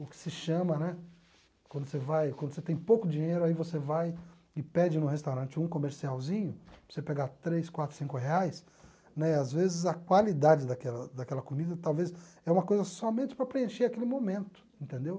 o que se chama, né, quando você vai quando você tem pouco dinheiro, aí você vai e pede no restaurante um comercialzinho, para você pegar três, quatro, cinco reais, né às vezes a qualidade daquela daquela comida talvez é uma coisa somente para preencher aquele momento, entendeu?